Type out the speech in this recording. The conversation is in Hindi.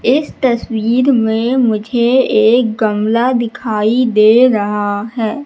इस तस्वीर में मुझे एक गमला दिखाई दे रहा हैं।